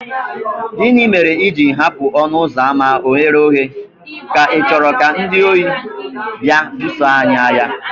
Gịnị mere i ji hapụ ọnụ ụzọ ámá oghere oghe, ka ichoro ka ndị ori bịa buso anyị agha?